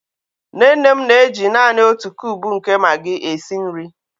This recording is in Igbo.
Nne nne m na-eji naanị otu kube nke Magi esi nri.